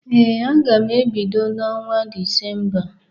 Ee, aga m ebido na ọnwa Disemba.